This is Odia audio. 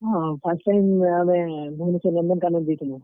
ହଁ, first time ୟାଦେ ଭୁବନେଶ୍ୱର ନନ୍ଦନକାନନ୍ ଯେଇଥିଲୁଁ।